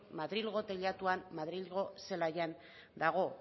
madrilgo teilatuan madrilgo zelaian dago